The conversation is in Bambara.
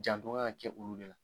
Janton ŋa ŋa kɛ olu de la.